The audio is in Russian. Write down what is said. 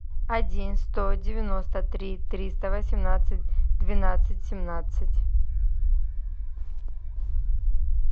один сто девяносто три триста восемнадцать двенадцать семнадцать